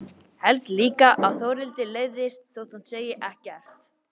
Held líka að Þórhildi leiðist þótt hún segi ekkert.